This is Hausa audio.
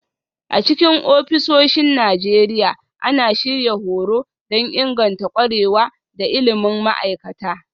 A cikin ofisoshin Najeriya, ana shirya horo don inganta ƙwarewa da ilimin ma'aikata